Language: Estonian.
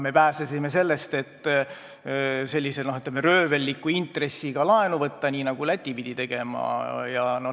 Me pääsesime, ütleme, röövelliku intressiga laenu võtmisest, mida Läti pidi tegema.